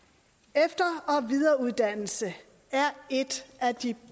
efter og videreuddannelse er et af de